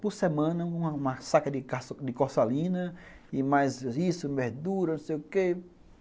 Por semana, uma saca de corsalina e mais isso, verdura, não sei o quê.